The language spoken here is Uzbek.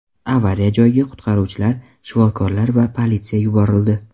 Avariya joyiga qutqaruvchilar, shifokorlar va politsiya yuborildi.